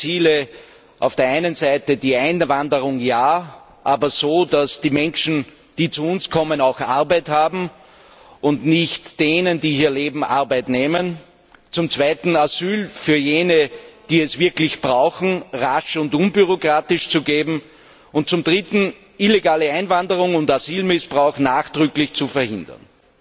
Wenn wir dessen Ziele auf der einen Seite Einwanderung ja, aber so, dass die Menschen, die zu uns kommen, auch Arbeit haben und nicht denen, die hier leben, Arbeit wegnehmen, zweitens Asyl für jene, die es wirklich brauchen, rasch und unbürokratisch zu geben und zum Dritten illegale Einwanderung und Asylmissbrauch nachdrücklich zu verhindern,